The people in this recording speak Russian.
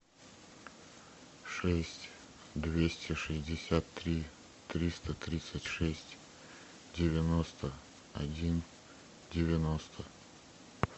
шесть двести шестьдесят три триста тридцать шесть девяносто один девяносто